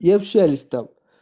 и общались там